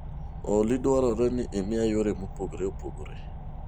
Olly dwarore ni imiya yore mopogore opogore